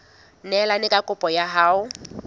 neelane ka kopo ya hao